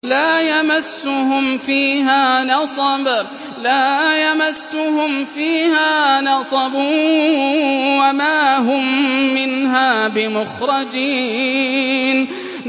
لَا يَمَسُّهُمْ فِيهَا نَصَبٌ وَمَا هُم مِّنْهَا بِمُخْرَجِينَ